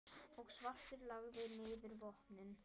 og svartur lagði niður vopnin.